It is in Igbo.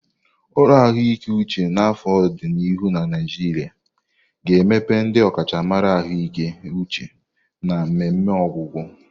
Ụlọ ahụike uche n'afọ di n'ihu na Naijiria ga-emepe ndị ọkachamara ahụike uche na mmemme ọgwụgwọ.